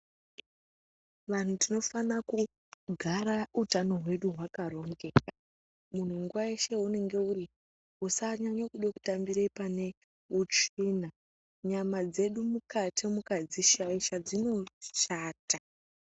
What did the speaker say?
Vantu tinofana kugara utano hwedu hwakarongeka muntu nguwa yeshe yeunenge uri usanyanya kude kutambire pane utsvina nyama dzedu mukati mukadzishaisa dzinoshata.